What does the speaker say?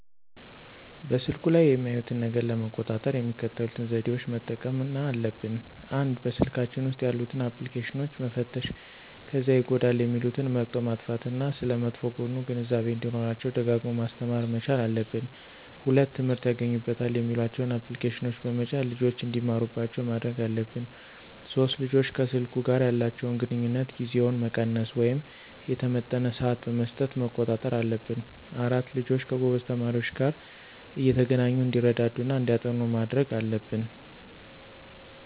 በስልኩ ላይ የሚያዩትን ነገር ለመቆጣጠር የሚከተሉትን ዘዴዎች መጠቀምና አለብን፦ ፩) በስልካቸው ውስጥ ያሉትን አፕልኬሽኖች መፈተሽ ከዚያ ይጎዳሉ የሚሉትን መርጠው ማጥፋት እና ስለመጥፎ ጎኑ ግንዛቤው እንዲኖራቸው ደጋግሞ ማስተማር መቻል አለብን። ፪) ትምህርት ያገኙበታል የሚሏቸውን አፕልኬሽኖች በመጫን ልጆች እንዲማሩባቸው ማድረግ አለብን። ፫) ልጆች ከሰልኩ ጋር ያላቸውን ግንኙነት ጊዜውን መቀነስ ወይም የተመጠነ ስዓት በመስጠት መቆጣጠር አለብን። ፬) ልጆች ከጎበዝ ተማሪዎች ጋር እየተገናኙ እንዲረዳዱ እና እንዲያጠኑ ማድረግ አለብን